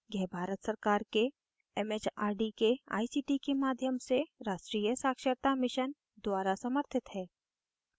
यह भारत सरकार के एमएचआरडी के आईसीटी के राष्ट्रीय साक्षरता mission द्वारा समर्थित है